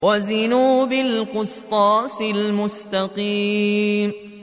وَزِنُوا بِالْقِسْطَاسِ الْمُسْتَقِيمِ